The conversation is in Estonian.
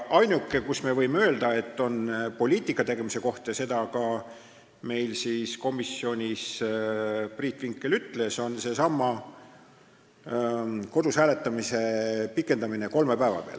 Ainuke, mille kohta võime öelda, et see on poliitikategemise koht – seda ka komisjonis Priit Vinkel ütles –, on seesama kodus hääletamise pikendamine kolme päeva peale.